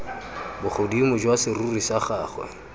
bogodimo jwa serori sa gagwe